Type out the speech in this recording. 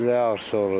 Ürək ağrısı olur.